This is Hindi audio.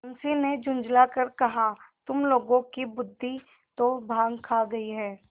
मुंशी ने झुँझला कर कहातुम लोगों की बुद्वि तो भॉँग खा गयी है